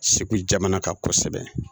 Segu jamana kan kosɛbɛ